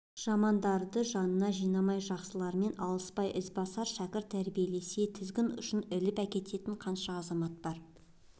жамандарды жанына жинамай жақсылармен алыспай ізбасар шәкірті тәрбиелесе тізгін ұшынан іліп әкететін қаншама азамат бар